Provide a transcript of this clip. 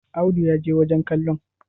Audu ya je wajen kallon?